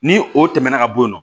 Ni o tɛmɛna ka bɔ yen nɔ